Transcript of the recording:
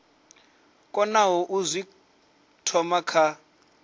konaho u zwi thoma kha